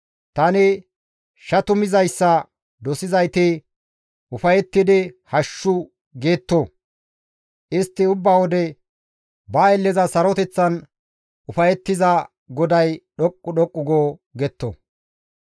Tani shatumizayssa dosizayti ufayettidi «Hashshu!» getto; istti ubba wode, «Ba aylleza saroteththan ufayettiza GODAY dhoqqu dhoqqu go» getto.